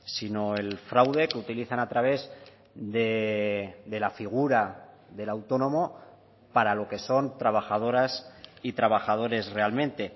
sino el fraude que utilizan a través de la figura del autónomo para lo que son trabajadoras y trabajadores realmente